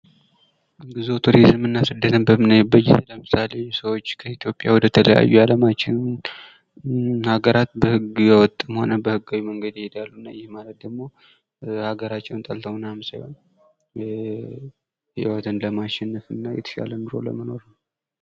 ጉዞ ቱሪዝም እና ስደትን በምናይበት ጊዜ ለምሳሌ ሰዎች ከኢትዮጵያ ወደ ተለያዩ የዓለማችን ሃገራት በህገወጥም ሆነ በህጋዊ መንሄድ ይሄዳሉ ይህም ማለት ደግሞ ሃገራቸውን ጠልተው ምናምን ሳይሆን ሕይወትን ለማሸነፍ እና የተሻለ ሕይወት ለመኖር ነው::